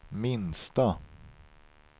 minsta